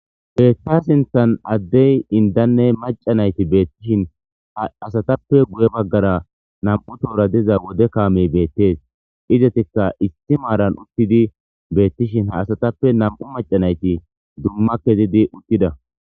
Ta sinthani adeyi indanne maccati betteshini asatape guye bagara namu'u tohora diza wode kameyi desi izatika issi marani utidi betishini izatape namu'u macca nayiti duma kezidi utida